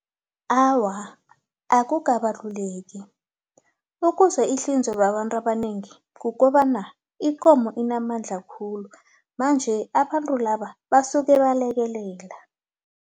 Awa, akukabaluleki ukuze ihlinzwe babantu abanengi kukobana ikomo inamandla khulu manje abantu laba basuke balekelela.